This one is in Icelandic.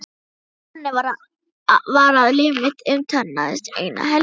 Þannig var að líf mitt umturnaðist eina helgi.